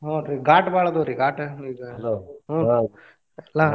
ಹೂನ್ರೀ ಘಾಟ್ ಬಾಳ ಅದಾವ್ರಿ ಘಾಟ್ ಈಗ ಹೂನ್ರೀ ಎಲ್ಲಾ.